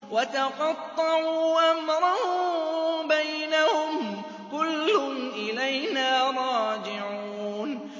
وَتَقَطَّعُوا أَمْرَهُم بَيْنَهُمْ ۖ كُلٌّ إِلَيْنَا رَاجِعُونَ